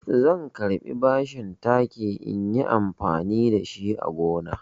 Zan karɓi bashin taki inyi amfani da shi a gonana.